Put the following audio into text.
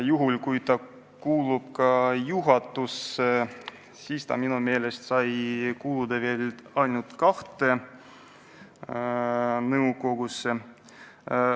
Ja kui inimene kuulub ka juhatusse, siis ta minu meelest saab kuuluda veel ainult kahte nõukogusse.